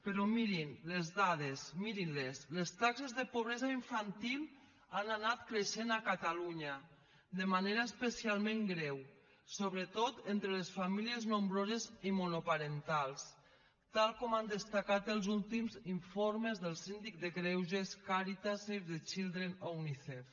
però mirin les dades mirin les les taxes de pobresa infantil han anat creixent a catalunya de manera especialment greu sobretot entre les famílies nombroses i monoparentals tal com han destacat els últims informes del síndic de greuges càritas save the children o unicef